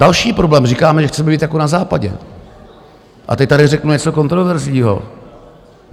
Další problém. říkáme, že chceme být jako na Západě, a teď tady řeknu něco kontroverzního.